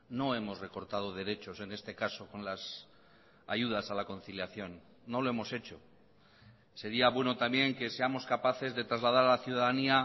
no hemos recortado derechos en este caso con las ayudas a la conciliación no lo hemos hecho sería bueno también que seamos capaces de trasladar a la ciudadanía